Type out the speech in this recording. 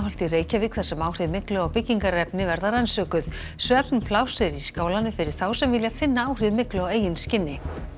í Reykjavík þar sem áhrif myglu á byggingarefni verða rannsökuð svefnpláss er í skálanum fyrir þá sem vilja finna áhrif myglu á eigin skinni